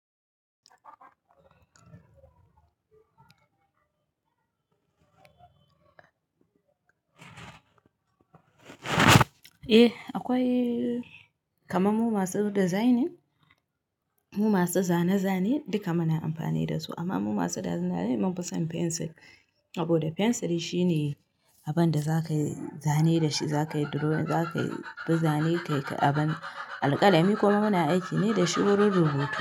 Eh akwai kaman mu masu designing, mu masu zane-zane duka muna amfani da su amma mu masu designing mun fi son pencil saboda pencil shine abinda za kayi zane da shi, za ka yi drawing, za kayi fi zane, kai ka abin. Alƙalami kuma muna aiki ne dashi wurin rubutu.